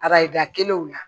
Arajo kelenw la